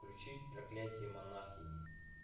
включить проклятие монахини